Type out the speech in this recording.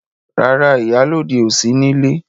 Rárá, ìyálọ́de ò sí nílé.